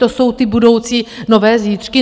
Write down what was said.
To jsou ty budoucí nové zítřky?